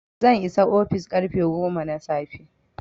zan isa ofis karfe goma na safe